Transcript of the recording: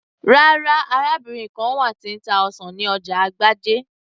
rárá, arábìnrin kan wà tí ń ta ọsàn ní ọjà agbájé